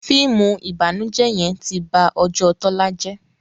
fíìmù ìbànújẹ yén tí bá Ojó Tola jé